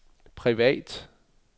privat